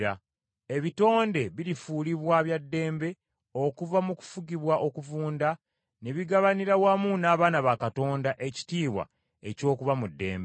Ebitonde birifuulibwa bya ddembe okuva mu kufugibwa okuvunda ne bigabanira wamu n’abaana ba Katonda ekitiibwa eky’okuba mu ddembe.